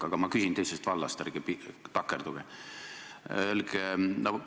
Aga ma küsin teisest vallast, palun ärge takerduge!